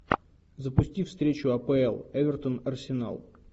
запусти встречу апл эвертон арсенал